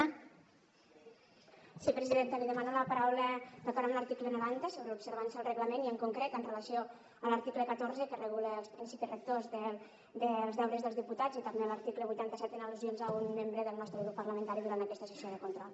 li demano la paraula d’acord amb l’article noranta sobre l’observança del reglament i en concret amb relació a l’article catorze que regula els principis rectors dels deures dels diputats i també a l’article vuitanta set en al·lusions a un membre del nostre grup parlamentari durant aquesta sessió de control